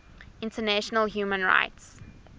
international human rights